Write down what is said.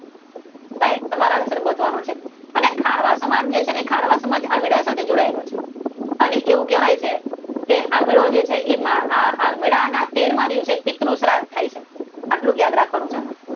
સાહેબ તમારે આન્સર ગોતવાનો છે અને ખારવાર સમાજ છે ને ખારવા એ આની સાથે જોડાયેલો છે. અને એવું કહેવાય છે કે આ મેળો થાય છે ત્યારે મેળાના તેરમાં દિવસે પિતૃ સાહેબ થાય છે આટલું જ યાદ રાખવાનું છે આમાં.